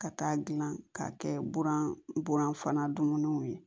Ka taa gilan k'a kɛ buran buran fana dunniniw ye